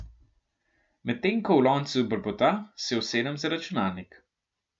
Medtem ko v loncu brbota, se usedem za računalnik.